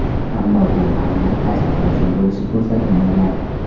Ammo bu aynan qaysi uchrashuv bo‘lishi ko‘rsatilmagan.